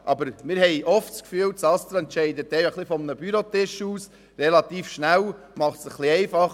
Aber wir haben oft das Gefühl, das ASTRA entscheide relativ schnell von einem Bürotisch aus und mache es sich ein bisschen einfach.